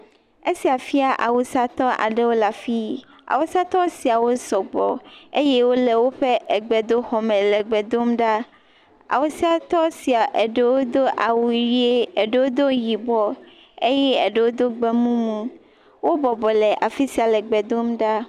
Esia fia awusatɔ aɖewo le afi. Awusatɔ siawo sɔgbɔ eye wole woƒe egbedoxɔme le egbe dom ɖa. Awusatɔ swia eɖewo do awuy ʋi, eɖewo sdo yibɔ eye eɖewo do egbemumu. Wobɔbɔ le afi sai le egbe dom ɖa.